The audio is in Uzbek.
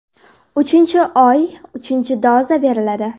Uchinchi oy uchinchi doza beriladi.